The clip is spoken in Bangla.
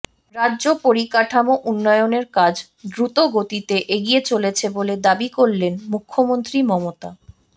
রাজ্যে পরিকাঠামো উন্নয়নের কাজ দ্রুত গতিতে এগিয়ে চলেছে বলে দাবি করলেন মুখ্যমন্ত্রী মমতা